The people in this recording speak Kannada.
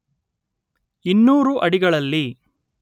ಇನ್ನೂರು ಅಡಿಗಳಲ್ಲಿ